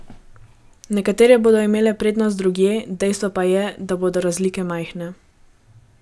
Nekatere bodo imele prednost drugje, dejstvo pa je, da bodo razlike majhne.